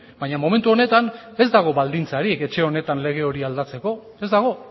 baina momentu honetan ez dago baldintzarik etxe honetan lege hori aldatzeko ez dago